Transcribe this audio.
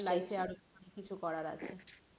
Life এ আরো অনেক কিছু করার আছে,